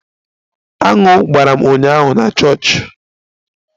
Aṅụ gbara m ụnyaahụ na chọọchị